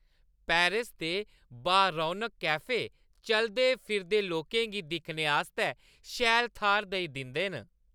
Paris दे बा-रौनक cafe चलदे -फिरदे लोकें गी दिक्खने आस्तै शैल थाह्‌र देई दिंदे न ।